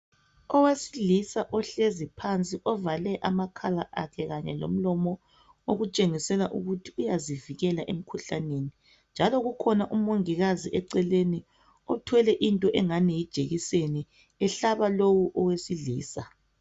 Owesilisa ohlezi phansi ovale amakhala akhe kanye lomlomo okutshengisela ukuthi uyazivikela emikhuhlaneni njalo kukhona umongikazi eceleni othwele into engani yijekiseni ehlaba lowu owesilisa.